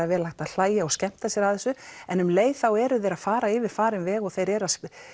vel hægt að hlæja og skemmta sér að þessu en um leið eru þeir að fara yfir farinn veg og þeir eru